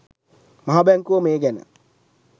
මහ බැංකුව මේ ගැන